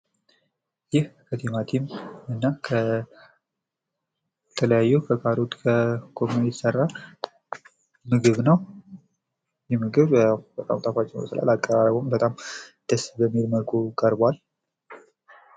ይህ ከቲማቲማ እና ከተለያዩ ከካሮት እና ጎመን የሚሰራ ምግብነው ::ይህ የምግብ ጣፋጭ ይመስላል አቀራረቡም በጣም ደስ በሚል መልኩ ቀርቧል ::